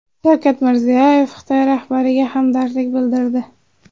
Shavkat Mirziyoyev Xitoy rahbariga hamdardlik bildirdi.